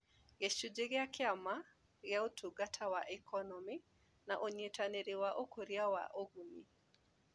Gĩcunjĩ kĩa Kĩama gĩa Ũtungata wa Ikonomi na Ũnyitanĩri na Ũkũria wa Ũguni